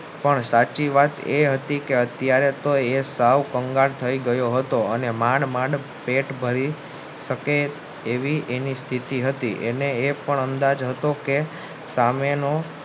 પણ સાચી વાત એ હતી કે અત્યરે તો એ સૌ કંગાળ થાય ગયો હતો અને માંડ માંડ પેટ ભરી શકે એવી એની સ્થિતિ હતી એ પણ અંદાજ હતો કે સામેનો